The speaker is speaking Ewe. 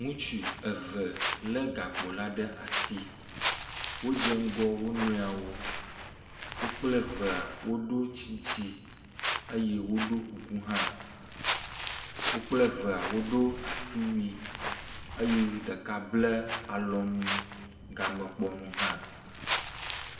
Ŋutsu eve lé gakpo la ɖe asi. Wodze ŋgɔ wo nɔewo. Wo kple evea woɖo tsitsi eye woɖo kuku hã. Wo kple evea woɖo asiwui eye ɖeka ble alɔnu gamekpɔ nu hã